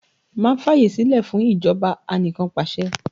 Má fàyè sílẹ̀ fún ìjọba anikanpasẹ̀!